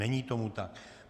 Není tomu tak.